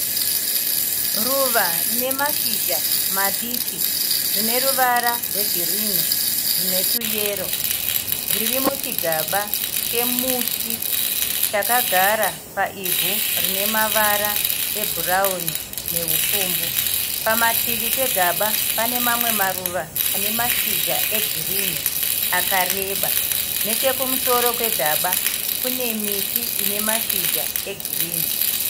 Ruva rine mashizha madiki rine ruvara rwegirinhi rune tuyero. Riri muchigaba chemuti chakagara paivhu rine ruvara ebhurawuni nerupfumbu. Pamativi pegaba pane mamwe maruva ane mashizha egirinhi akareba. Nechekumusoro kwegaba kune miti ine mashizha egirinhi.